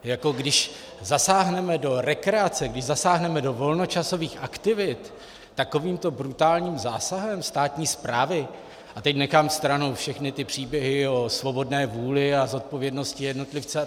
Když zasáhneme do rekreace, když zasáhneme do volnočasových aktivit takovýmto brutálním zásahem státní správy - a teď nechám stranou všechny ty příběhy o svobodné vůli a zodpovědnosti jednotlivce atd.